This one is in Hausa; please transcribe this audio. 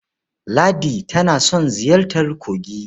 Ladi tana son ziyartar kogi.